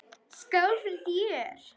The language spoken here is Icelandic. Skál fyrir þér!